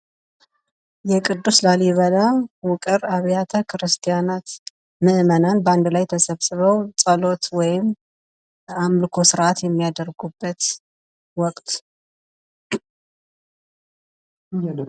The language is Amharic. ቅዱስ ላሊበላ ውቅር አብያተ ክርስቲያናት ምእመናን በአንድ ላይ ተሰብስበው ጸሎት ወይም አምልኮ ስርአት የሚያደርጉበት ወቅት